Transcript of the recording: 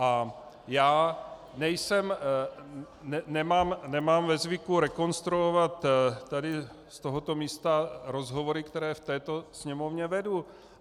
A já nejsem, nemám ve zvyku rekonstruovat tady z tohoto místa rozhovory, které v této Sněmovně vedu.